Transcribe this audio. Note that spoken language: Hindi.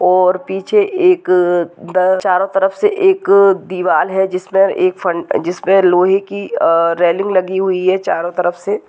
और पीछे एक चारों तरफ से एक दीवाल है जिसमे अ लोहे की रेलिंग लगी हुई है चारों तरफ से।